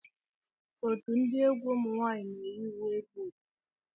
Otu ndi egwu ụmụnwanyi na eyi uwe bu ofu.